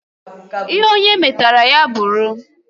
Ihe onye metara ya bụrụ